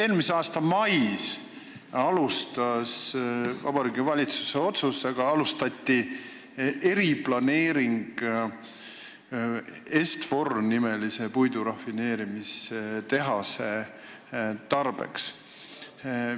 Eelmise aasta mais algatati Vabariigi Valitsuse otsusega eriplaneering Est-Fori nimelise puidurafineerimistehase tarbeks.